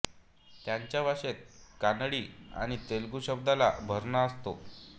त्यांच्या भाषेत कानडी आणि तेलुगू शब्दांचा भरणा असतो